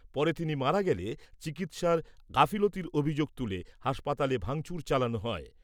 পরে তিনি মারা গেলে, চিকিৎসার গাফিলতির অভিযোগ তুলে হাসপাতালে ভাঙচুর চালানো হয়।